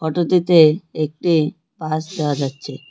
তুতিতে একটি বাস দেহা যাচ্ছে।